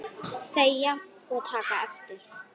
Þegja og taka eftir!